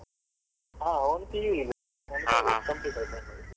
ಆ ಅವ್ನ್ PU ಈಗ complete ಆಯ್ತಲ್ಲ ಈಗ.